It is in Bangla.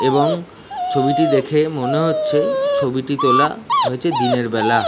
এবং ছবিটি দেখে মনে হচ্ছে ছবিটি তোলা হয়েছে দিনের বেলা।